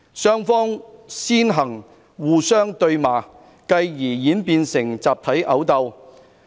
雙方先互相對罵，繼而演變成集體毆鬥。